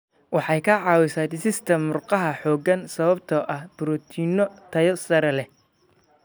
Waxay ka caawisaa dhisidda murqaha xooggan sababtoo ah borotiinno tayo sare leh.